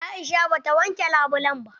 Aisha ba ta wanke labulen ba.